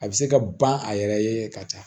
A bɛ se ka ban a yɛrɛ ye ka taa